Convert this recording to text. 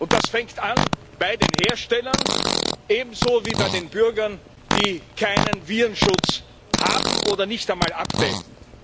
Das fängt an bei den Herstellern, ebenso wie bei den Bürgern, die keinen Virenschutz haben oder nicht einmal updaten.